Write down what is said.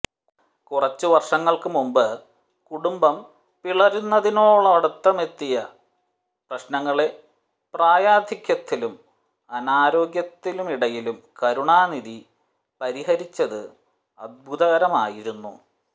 കുറച്ചുവർഷങ്ങൾക്കു മുൻപ് കുടുംബം പിളരുന്നതിനടുത്തോളമെത്തിയ പ്രശ്നങ്ങളെ പ്രായാധിക്യത്തിനും അനാരോഗ്യത്തിനുമിടയിലും കരുണാനിധി പരിഹരിച്ചത് അദ്ഭുതകരമായിരുന്നു